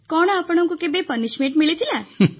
କଣ ଆପଣଙ୍କୁ କେବେ ଦଣ୍ଡ ମିଳିଥିଲା